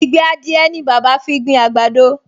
Ìgbẹ́ adìẹ ni bàbá fi gbin àgbàdo